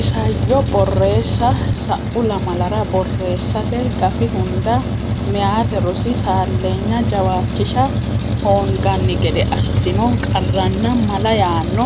Isayyo Borreessa Sa u lamalara borreessate gafi hunda Meyate Rosi Taalleenya Jawaachisha Hoonganni gede Assino Qarranna Mala yaanno